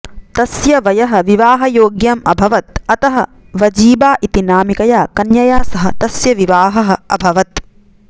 तस्य वयः विवाहयोग्यम् अभवत् अतः वजीबा इति नामिकया कन्यया सह तस्य विवाहः अभवत्